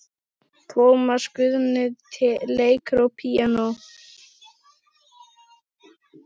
Tómas Guðni leikur á píanó.